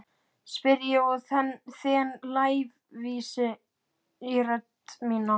spyr ég og þen lævísi í rödd mína.